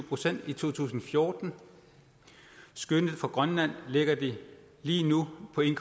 procent i to tusind og fjorten og skønnet for grønland lægger de lige nu på en